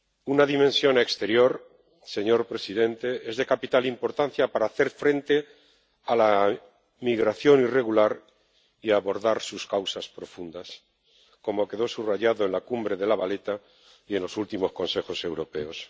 Una dimensión exterior, señor presidente, es de capital importancia para hacer frente a la migración irregular y abordar sus causas profundas, como quedó subrayado en la Cumbre de La Valeta y en los últimos Consejos Europeos.